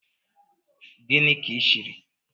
Gini ki shirk